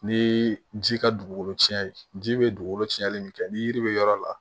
Ni ji ka dugukolo cɛn ji bɛ dugukolo cɛnli min kɛ ni yiri bɛ yɔrɔ la